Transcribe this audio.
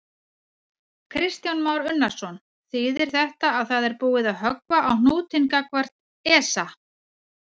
Kristján Már Unnarsson: Þýðir þetta að það er búið að höggva á hnútinn gagnvart ESA?